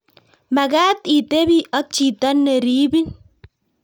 Mekat itebii ak chito ne ribin